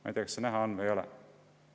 Ma ei tea, kas seda on näha või ei ole.